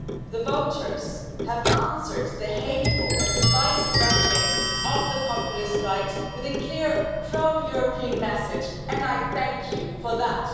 the voters, have answered the hateful and divisive rhetoric of the populist right with a clear pro European message, and I thank you for that.